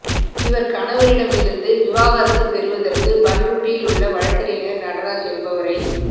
இவர் கணவரிடமிருந்து விவாகரத்து பெறுவதற்கு பண்ருட்டியில் உள்ள வழக்கறிஞர் நடராஜ் என்பவரை